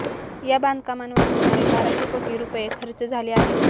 या बांधकामांवर सुमारे बाराशे कोटी रुपये खर्च झाले आहेत